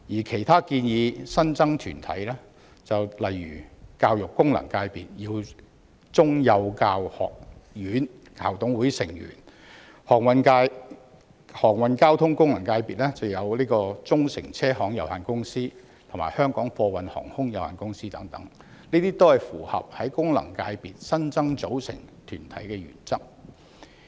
其他建議新增團體，例如教育界功能界別的耀中幼教學院校董會成員，航運交通界功能界別的忠誠車行有限公司及香港貨運航空有限公司等，均符合在功能界別新增組成團體的原則。